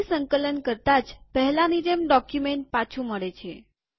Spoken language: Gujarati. ફરી સંકલન કરતા જ પહેલાની જેમ ડોક્યુમેન્ટ પાછું મળે છે